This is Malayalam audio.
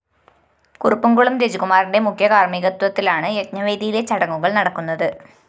കുറുപ്പംകുളം രജികുമാറിന്റെ മുഖ്യകാര്‍മ്മികത്വത്തിലാണ് യജ്ഞവേദിയിലെ ചടങ്ങുകള്‍ നടക്കുന്നത്